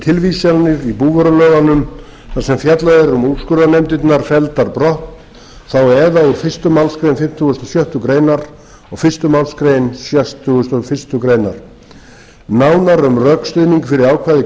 tilvísanir í búvörulögunum þar sem fjallað er um úrskurðarnefndirnar felldar brott úr fyrstu málsgrein fimmtugustu og sjöttu greinar og fyrstu málsgrein sextugustu og fyrstu grein nánar um rökstuðning fyrir ákvæði greinar